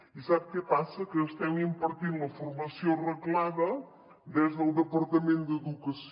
i sap què passa que estem impartint la formació reglada des del departament d’educació